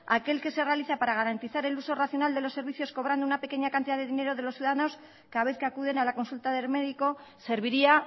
aquel que se realiza para garantizar el uso racional de los servicios cobrando una pequeña cantidad de dinero de los ciudadanos cada vez que acuden a la consulta del médico serviría